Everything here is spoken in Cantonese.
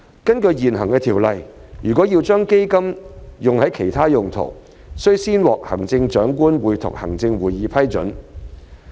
根據現行條例，若要將基金用作其他用途，須先獲行政長官會同行政會議批准。